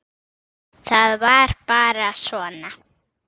Það var bara svona.